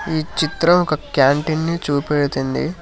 ఈ చిత్రం ఒక క్యాంటీన్ ని చూపెడుతుంది.